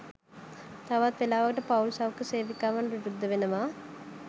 තවත් වෙලාවකට පවුල් සෞඛ්‍ය සේවිකාවන් විරුද්ධ වෙනවා